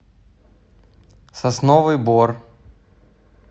сосновый бор